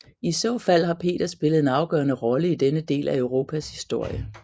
I så fald har Peter spillet en afgørende rolle i denne del af Europas historie